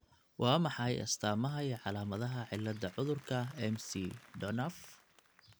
Waa maxay astamaha iyo calaamadaha cilada cudurka McDonough?